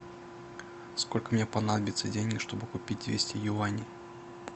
сколько мне понадобится денег чтобы купить двести юаней